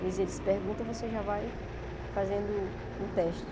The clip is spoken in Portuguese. Quer dizer, eles perguntam, você já vai fazendo o teste.